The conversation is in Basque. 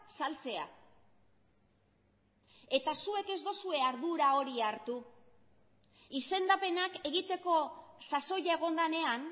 saltzea eta zuek ez duzue ardura hori hartu izendapenak egiteko sasoia egon denean